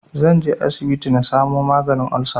Zanje asibiti na samu maganin olsa